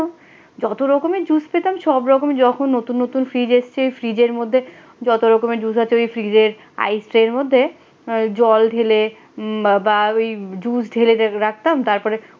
যত রকমের জুস পেতাম সব রকম যখন নতুন নতুন ফ্রিজ আসছে ফ্রিজের মধ্যে যত রকমের জুস আছে ওই ফ্রিজের আইসের মধ্যে জল ঢেলে বা ওই জুস ঢেলে ঢেলে রাখতাম তার পরে।